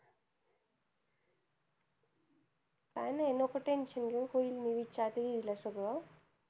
काय नाय नको tension घेऊ, होईन मी विचारते दीदी ला सगळं.